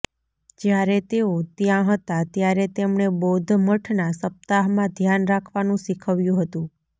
જ્યારે તેઓ ત્યાં હતા ત્યારે તેમણે બૌધ્ધ મઠના સપ્તાહમાં ધ્યાન રાખવાનું શીખવ્યું હતું